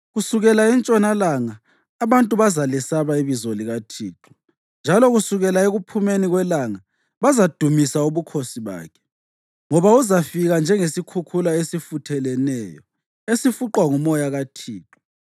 Kusukela entshonalanga abantu bazalesaba ibizo likaThixo, njalo kusukela ekuphumeni kwelanga bazadumisa ubukhosi bakhe. Ngoba uzafika njengesikhukhula esifutheleneyo esifuqwa ngumoya kaThixo.